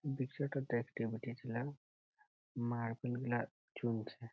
বিক্রয়তা ডেখতে পাঠিয়েছিল। মার্বেল গুলা চুনছে।